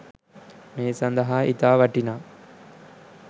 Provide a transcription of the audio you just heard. මේ සඳහා ඉතා වටිනා